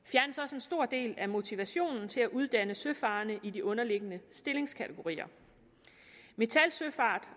en stor del af motivationen til at uddanne søfarende i de underliggende stillingskategorier metal søfart